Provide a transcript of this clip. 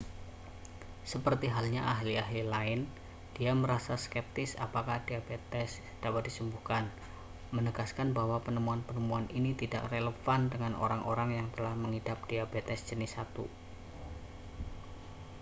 seperti halnya ahli-ahli lain dia merasa skeptis apakah diabetes dapat disembuhkan menegaskan bahwa penemuan-penemuan ini tidak relevan dengan orang-orang yang telah mengidap diabetes jenis 1